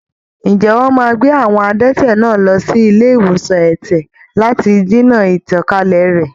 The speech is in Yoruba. Ǹjẹ́ wọ́n máa gbé àwọn adẹ́tẹ̀ náà lọ sí ilé ìwòsan ẹ̀tẹ̀ lati dènà ìtànkálẹ̀ rẹ̀?